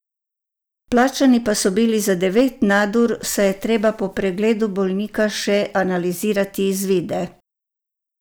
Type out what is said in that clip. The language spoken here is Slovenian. Plačani pa so bili za devet nadur, saj je treba po pregledu bolnika še analizirati izvide.